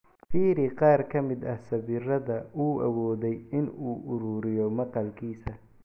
Fiiri qaar ka mid ah sawirada uu awooday in uu ururiyo maqaalkiisa.